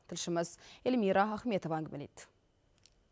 тілшіміз эльмира ахметова әңгімелейді